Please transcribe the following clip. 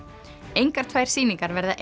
engar tvær sýningar verða